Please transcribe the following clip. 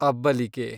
ಅಬ್ಬಲಿಗೆ